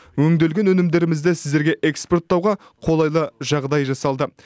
өңделген өнімдерімізді сіздерге экспорттауға қолайлы жағдай жасалды